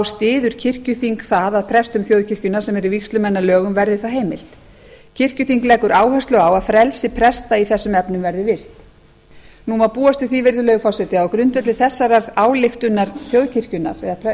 styður kirkjuþing það að prestum þjóðkirkjunnar sem eru vígslumenn að lögum verði það heimilt kirkjuþing leggur áherslu á að frelsi presta í þessum efnum verði virt nú má búast við því virðulegi forseti að á grundvelli þessarar ályktunar þjóðkirkjunnar eða